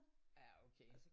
Ja okay